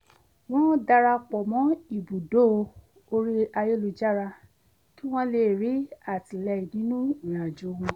wọ́n darapọ̀ mọ́ ibùdó orí ayélujára kí wọ́n lè rí àtìlẹ́yìn nínú ìrìnàjò wọn